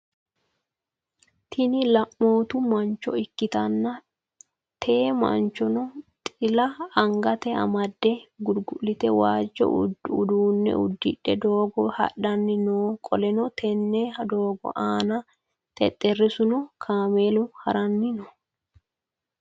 Tini laneemotu manchcho ikkitanna te manchino xila anagate amade gulgulite waajjo uduunne udidhe doogo hadhanni no qoleno tenne doogo aana xexerisuna kamelu haranni no